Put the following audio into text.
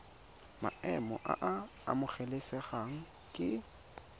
maemo a a amogelesegang ke